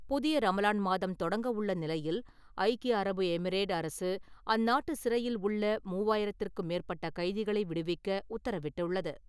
புனித ரமலான் மாதம் தொடங்கவுள்ள நிலையில் ஐக்கிய அரபு எமரேட் அரசு அந்நாட்டு சிறையில் உள்ள மூவாயிரத்திற்கும் மேற்பட்ட கைதிகளை விடுவிக்க உத்தரவிட்டுள்ளது.